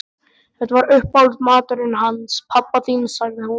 Þetta var uppáhaldsmaturinn hans pabba þíns sagði hún.